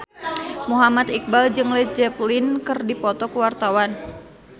Muhammad Iqbal jeung Led Zeppelin keur dipoto ku wartawan